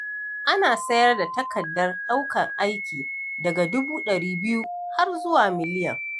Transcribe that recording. Ana sayar da takardar ɗaukar aiki daga dubu ɗari biyu har zuwa miliyan.